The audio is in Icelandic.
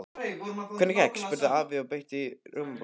Hvernig gekk? spurði afi og beit í rjómabollu.